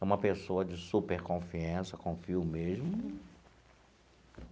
É uma pessoa de super confiança, confio mesmo.